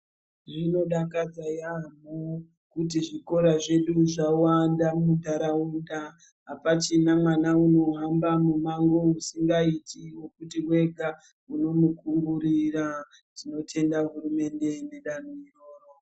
Zvinodakadza yampho kuti zvikora zvedu zvawanda muntaraunda. Apachina mwana unohamba mumango usingaiti wekuti mwega munomukungurira. Tinotenda hurumende nedanto iroro.